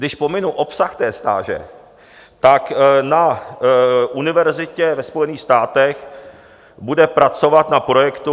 Když pominu obsah té stáže, tak na univerzitě ve Spojených státech bude pracovat na projektu.